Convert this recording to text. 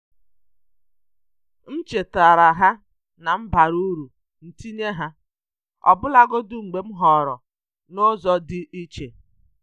M chetaara ha na m bara uru ntinye ha, ọbụlagodi mgbe m họọrọ n'ụzọ dị iche.